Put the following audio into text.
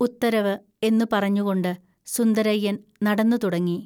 ഉത്തരവ് ' എന്നു പറഞ്ഞുകൊണ്ട് സുന്ദരയ്യൻ നടന്നു തുടങ്ങി